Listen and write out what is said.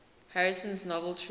harrison's novel true